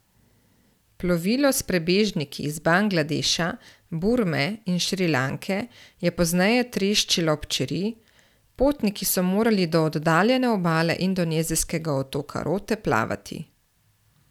Plovilo s prebežniki iz Bangladeša, Burme in Šrilanke je pozneje treščilo ob čeri, potniki so morali do oddaljene obale indonezijskega otoka Rote plavati.